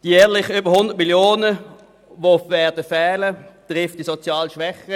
Die jährlich über 100 Mio. Franken, die fehlen werden, treffen die sozial Schwächeren.